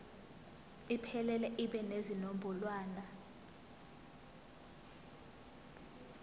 iphelele ibe nezinombolwana